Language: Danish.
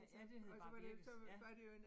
Ja, det hed bare birkes ja